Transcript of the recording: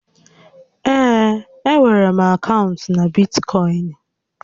Ee, e nwèrè m akaụntụ na Bitkọịn